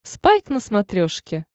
спайк на смотрешке